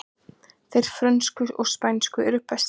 Þeir frönsku og spænsku eru bestir